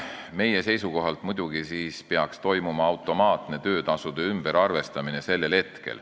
Meie seisukohalt peaks sellel hetkel muidugi toimuma automaatne töötasude ümberarvestamine.